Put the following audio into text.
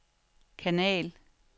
kanal